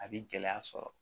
A bi gɛlɛya sɔrɔ